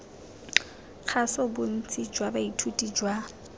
kgaso bontsi jwa baithuti jwa